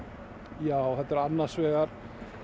já þetta eru annars vegar